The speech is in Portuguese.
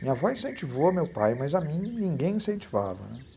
Minha avó incentivou meu pai, mas a mim ninguém incentivava, né?